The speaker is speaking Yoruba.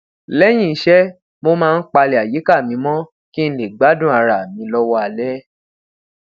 léyìn iṣé mo máa ń palè ayika mi mó kí n lè gbádùn ara mi lówó alé